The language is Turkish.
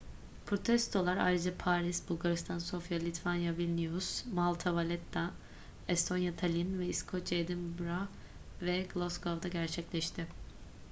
protestolar ayrıca paris bulgaristan sofya litvanya vilnius malta valetta estonya tallinn ve i̇skoçya edinburgh ve glasgow'da gerçekleşti